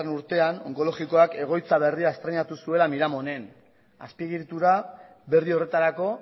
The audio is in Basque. urtean onkologikoak egoitza berria estreinatu zuela miramonen azpiegitura berri horretarako